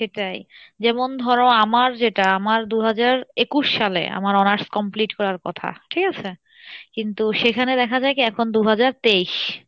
সেটাই যেমন ধরো আমার যেটা আমার দু হাজার একুশ সালে আমার honours complete করার কথা ঠিক আছে? কিন্তু সেইখানে দেখা যাই কী এখন দু হাজার তেইশ,